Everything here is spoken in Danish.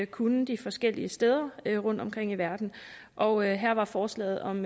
kunne de forskellige steder rundtomkring i verden og her var forslaget om